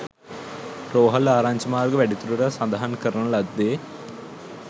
රෝහල් ආරංචි මාර්ග වැඩිදුරටත් සඳහන් කරන ලද්දේ